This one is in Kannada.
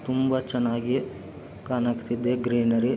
ತುಂಬಾ ಚೆನ್ನಾಗಿ ಕಾಣಕ್ತಿದೆ ಗ್ರೀನರಿ .